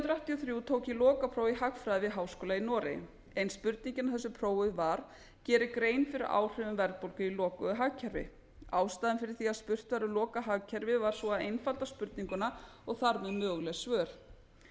og þrjú tók ég lokapróf í hagfræði við háskóla í noregi ein spurningin á þessu prófi var gerið grein fyrir áhrifum verðbólgu í lokuðu hagkerfi ástæðan fyrir því að spurt var um lokað hagkerfi var sú að einfalda spurninguna og þar með möguleg svör